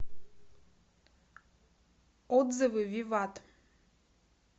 отзывы виват